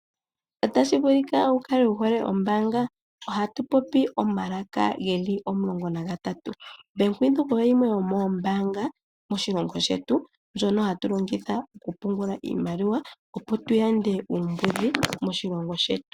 Otashi vulika wukale wuhole ombaanga. Ohatu popi omalaka geli omulongo nagatatu. Bank Windhoek oyo yimwe yomoombanga moshilongo shetu ndjono hatu longitha okupungula iimaliwa opo tuyande uumbudhi moshilongo shetu.